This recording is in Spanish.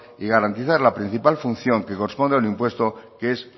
y garantizar la principal función que corresponde al impuesto que es